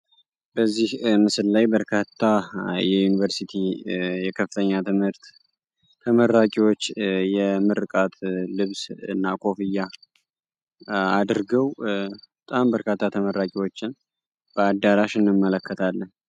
በዚህ ምስል ላይ በርካታ የዮኒቨርስቲ የከፍተኛ ትምህርት ተመራቂዎች የምርቃት ልብስ እና ኮፍያ አድርገው በጣም በርካታ ተመራቂዎችን በአዳራሹ እንመለከታለን።